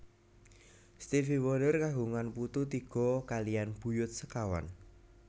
Stevie Wonder kagungan putu tiga kaliyan buyut sekawan